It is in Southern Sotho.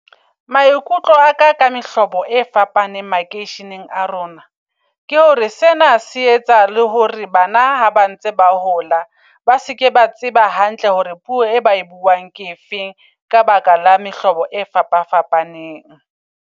Maikutlo aka ka mehlobo e fapaneng makeisheneng a rona. Ke hore sena se etsa le hore bana ha ba ntse ba hola, ba seke ba tseba hantle hore puo e ba e buang ke efeng. Ka baka la mehlobo e fapa fapaneng.